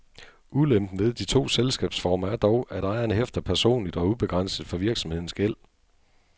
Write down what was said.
Ulempen ved de to selskabsformer er dog, at ejeren hæfter personligt og ubegrænset for virksomhedens gæld.